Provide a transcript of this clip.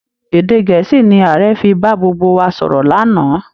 Èdè Gẹ̀ẹ́sì ni Ààrẹ fi bá gbogbo wa sọ̀rọ̀ lánàá